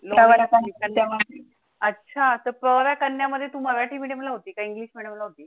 अच्छा, तर तो पोहराकन्या मध्ये तु मराठी medium ला होती का english medium ला होती?